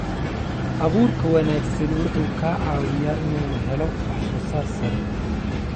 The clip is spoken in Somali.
Abuurka wanaagsani wuxuu ka caawiyaa inuu helo wax soo saar sare.